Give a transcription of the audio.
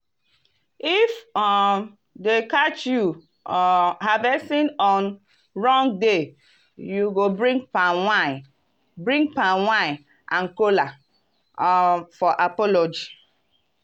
if um dem catch you um harvesting on wrong day you go bring palm wine bring palm wine and kola um for apology.